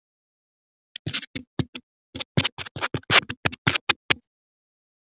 Hann átti mjög mörg systkini og kom frá fátæku heimili.